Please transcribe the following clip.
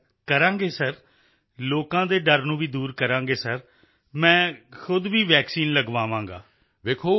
ਜੀ ਸਰ ਕਰਾਂਗੇ ਸਰ ਲੋਕਾਂ ਦੇ ਡਰ ਨੂੰ ਵੀ ਦੂਰ ਕਰਾਂਗੇ ਸਰ ਮੈਂ ਖੁਦ ਵੀ ਵੈਕਸੀਨ ਲਗਵਾਵਾਂਗਾ